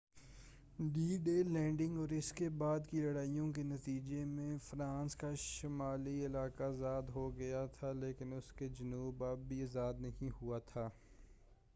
D Day landing اور اس کے بعد کی لڑائیوں کے نتیجے میں فرانس کا شمالی علاقہ آزاد ہوگیا تھا لیکن اس کا جنوب اب بھی آزاد نہیں ہوا تھا